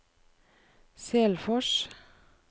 Selfors